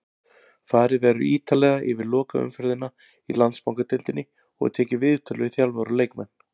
Farið verður ítarlega yfir lokaumferðina í Landsbankadeildinni og tekið viðtöl við þjálfara og leikmenn.